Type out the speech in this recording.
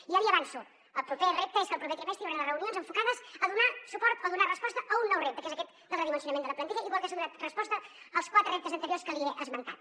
i ja l’hi avanço el proper repte és que el proper trimestre hi hauran les reunions enfocades a donar suport o donar resposta a un nou repte que és aquest del redimensio nament de la plantilla igual que s’ha donat resposta als quatre reptes anteriors que li he esmentat